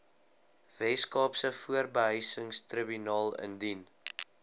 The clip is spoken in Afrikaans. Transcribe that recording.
weskaapse huurbehuisingstribunaal indien